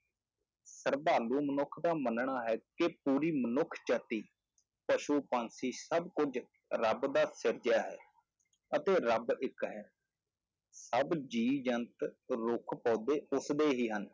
ਸਰਧਾਲੂ ਮਨੁੱਖ ਦਾ ਮੰਨਣਾ ਹੈ ਕਿ ਪੂਰੀ ਮਨੁੱਖ ਜਾਤੀ, ਪਸੂ-ਪੰਛੀ ਸਭ ਕੁੱਝ ਰੱਬ ਦਾ ਸਿਰਜਿਆ ਹੈ, ਅਤੇ ਰੱਬ ਇੱਕ ਹੈ ਸਭ ਜੀਅ ਜੰਤ ਰੁੱਖ ਪੌਦੇ ਉਸਦੇ ਹੀ ਹਨ।